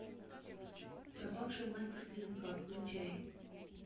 пропавший мастер клинка включай